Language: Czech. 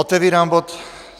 Otevírám bod